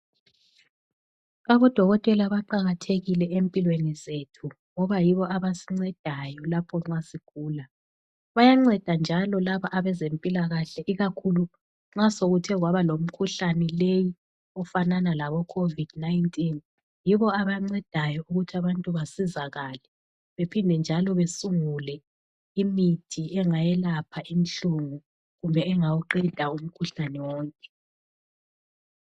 Abodokotela baqakathekile empilweni zethu ngoba yibo abasincedayo lapho nxa sigula. Bayanceda njalo laba abezempilakahle ikakhulu nxa sokuthe kwabalomkhuhlane leyi ofanana labo Covid 19 yibo abancedayo ukuthi abantu basizakale bephinde njalo besungule imithi engayelapha inhlungu kumbe engawuqeda umkhuhlane wonke.